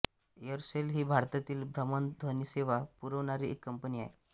Aircel ही भारतातील भ्रमणध्वनिसेवा पुरवणारी एक कंपनी आहे